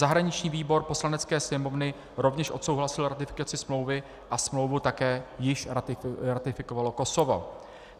Zahraniční výbor Poslanecké sněmovny rovněž odsouhlasil ratifikaci smlouvy a smlouvu také již ratifikovalo Kosovo.